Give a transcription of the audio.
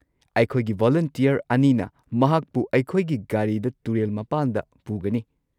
ꯑꯩꯈꯣꯏꯒꯤ ꯚꯣꯂꯨꯟꯇꯤꯌꯔ ꯑꯅꯤꯅ ꯃꯍꯥꯛꯄꯨ ꯑꯩꯈꯣꯏꯒꯤ ꯒꯥꯔꯤꯗ ꯇꯨꯔꯦꯜ ꯃꯄꯥꯟꯗ ꯄꯨꯒꯅꯤ꯫